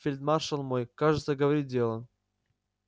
фельдмаршал мой кажется говорит дело